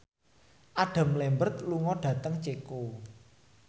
Adam Lambert lunga dhateng Ceko